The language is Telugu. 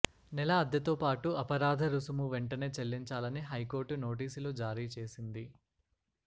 నెల అద్దెతో పాటు అపరాధ రుసుము వెంటనే చెల్లించాలని హైకోర్టు నోటీసులు జారీచేసింది